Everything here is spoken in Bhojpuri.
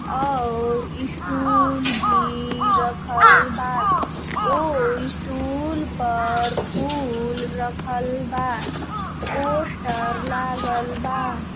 और ई स्टूल भी रखल बा| ऊ स्टूल पर फूल रखल बा| पोष्टर लागल बा|